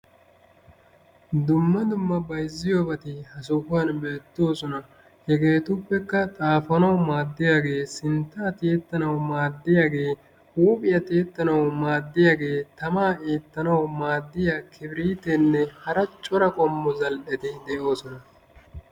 Dumma dumma bayzziyobati ha sohuwan beettoosona. Hegeetuppekka xaafanawu maadiyaagee, sintta tiyettanawu maddiyagee, huuphphiya tiyettanawu maadiyaagee, tamaa eettanawu maadiya kibrittenne hara Cora qommo zal'eti de'oosona.